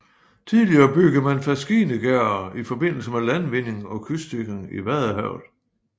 Tidligere byggede man faskinegærder i forbindelse med landvinding og kystsikring i Vadehavet